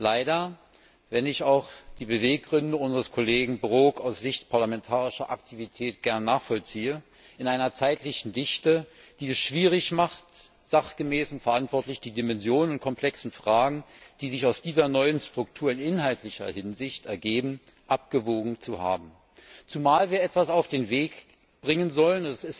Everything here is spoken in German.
Leider, wenn ich auch die Beweggründe unseres Kollegen Brok aus Sicht parlamentarischer Aktivität gern nachvollziehe, in einer zeitlichen Dichte, die es schwierig macht, sachgemäß und verantwortlich die Dimensionen und komplexen Fragen, die sich aus dieser neuen Struktur in inhaltlicher Hinsicht ergeben, abgewogen zu haben, zumal wir etwas auf den Weg bringen sollen.